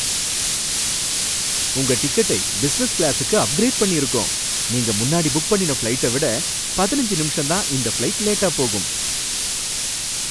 உங்க டிக்கெட்டை பிசினஸ் கிளாசுக்கு அப்கிரேட் பண்ணிருக்கோம், நீங்க முன்னாடி புக் பண்ணின ஃபிளைட்டை விட பதினைஞ்சு நிமிஷம்தான் இந்த ஃபிளைட் லேட்டா போகும்.